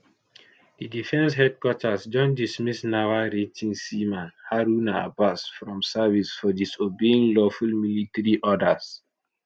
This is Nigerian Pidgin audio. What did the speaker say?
di defence headquarters don dismiss naval rating seaman haruna abbas from service for disobeying lawful military orders